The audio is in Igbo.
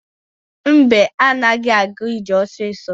Mbe anaghị aga ije ọsọsọ.